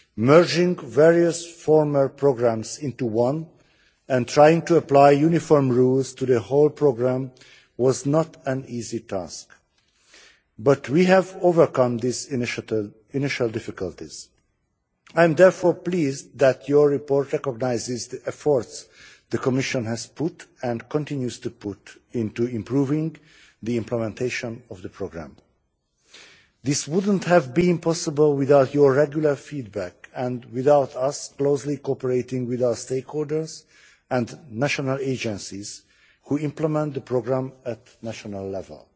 Merging various former programmes into one and trying to apply uniform rules to the whole programme was not an easy task, but we have overcome these initial difficulties I am therefore pleased that your report recognises the efforts the Commission has put and continues to put into improving the implementation of the programme. This would not have been possible without your regular feedback and without us closely cooperating with our stakeholders and national agencies who implement the programme at national level.